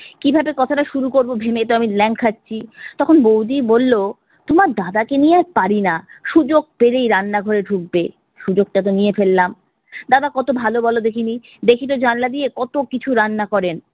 কিভাবে কথাটা শুরু করবো ভেবে তো আমি ল্যাং খাচ্ছি। তখন বৌদি বললো তোমার দাদাকে নিয়ে আর পারিনা, সুযোগ পেলেই রান্না ঘরে ঢুকবে। সুযোগটা তো নিয়ে ফেললাম। দাদা কত ভালো বল দেখিনি, দেখিতো জানলা দিয়ে কত কিছু রান্না করেন।